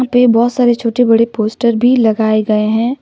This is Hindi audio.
पे बहोत सारे छोटे बड़े पोस्टर भी लगाए गए हैं।